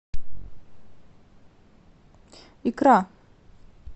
икра